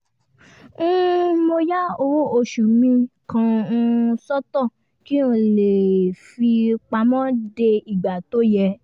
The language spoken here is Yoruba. um mo ya owó oṣù mi kan um sọ́tọ̀ kí n lè lè fi pamọ́ dé ìgbà tó yẹ